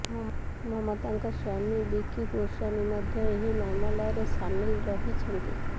ମମତାଙ୍କ ସ୍ୱାମୀ ବିକି ଗୋସ୍ୱାମୀ ମଧ୍ୟ ଏହି ମାମଲାରେ ସାମିଲ୍ ରହିଛନ୍ତି